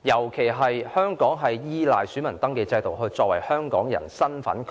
尤其因為香港依賴選民登記制度確認香港人身份。